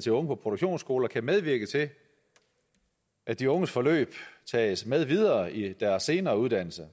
til unge på produktionsskoler kan medvirke til at de unges forløb tages med videre i deres senere uddannelse